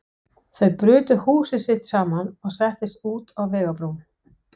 Þau brutu húsið sitt saman og settust út á vegarbrún.